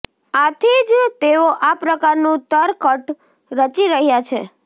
આથી જ તેઓ આ પ્રકારનું તરકટ રચી રહ્યા છે